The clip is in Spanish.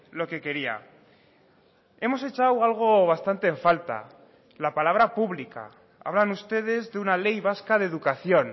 lo que quería hemos echado algo bastante en falta la palabra pública hablan ustedes de una ley vasca de educación